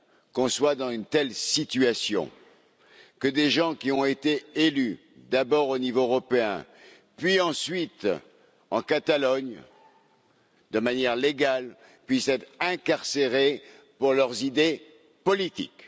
qu'on soit dans une telle situation, que des gens qui ont été élus, d'abord au niveau européen, ensuite en Catalogne, de manière légale, puissent être incarcérés pour leurs idées politiques?